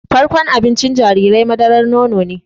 Farkon abincin jarirai madaran nono ne